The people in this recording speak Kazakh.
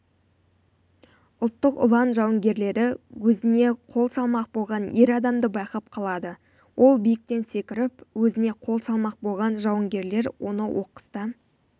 ұлттық ұлан жауынгерлері өзіне қол салмақ болған ер адамды байқап қалады ол биіктен секіріп өзіне қол салмақ болған жауынгерлер оны оқыста